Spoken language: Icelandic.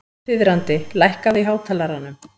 Þiðrandi, lækkaðu í hátalaranum.